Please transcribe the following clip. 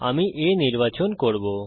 আমি A নির্বাচন করব